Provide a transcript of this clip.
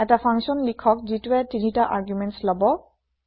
এটা ফাংচন লিখক যিটোৱে ৩টা আৰ্গুমেণ্টছ লব